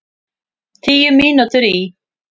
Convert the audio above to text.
Tíu mínútur í